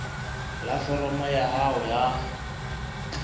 la foromo ya hao ya